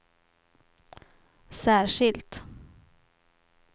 särskilt